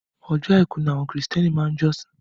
Ọjọ́ àìkú ni àwọn kìrìsìtẹ́nì máa ń jọ́sìn.